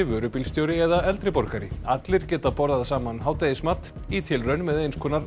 vörubílstjóri eða eldri borgari allir geta borðað saman hádegismat í tilraun með eins konar